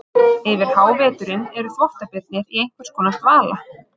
Yfir háveturinn eru þvottabirnir í einhvers konar dvala.